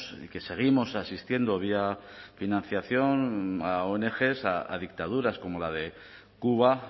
que seguimos asistiendo vía financiación a ong a dictaduras como la de cuba